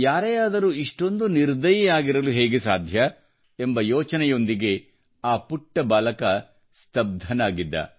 ಯಾರೇ ಆದರೂ ಇಷ್ಟೊಂದು ನಿರ್ದಯಿ ಆಗಿರಲು ಹೇಗೆ ಸಾಧ್ಯ ಎಂಬ ಯೋಚನೆಯೊಂದಿಗೆಆ ಪುಟ್ಟ ಬಾಲಕ ಸ್ತಬ್ದನಾಗಿದ್ದ